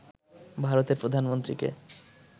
ভারতের প্রধানমন্ত্রীকে